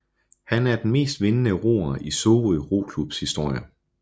Han er den mest vindende roer i Sorø Roklubs historie